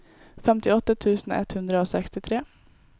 femtiåtte tusen ett hundre og sekstitre